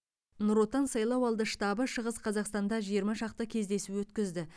нұр отан сайлау алды штабы шығыс қазақстанда жиырма шақты кездесу өткізді